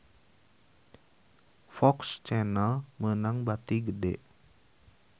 FOX Channel meunang bati gede